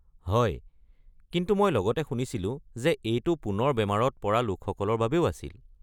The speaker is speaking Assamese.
হয়, কিন্তু মই লগতে শুনিছিলোঁ যে এইটো পুনৰ বেমাৰত পৰা লোকসকলৰ বাবেও আছিল।